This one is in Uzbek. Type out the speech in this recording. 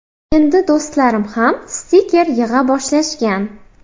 Endi do‘stlarim ham stiker yig‘a boshlashgan.